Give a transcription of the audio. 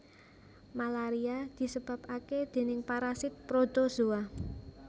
Malaria disebabaké déning parasit protozoa